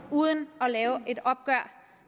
uden at have et opgør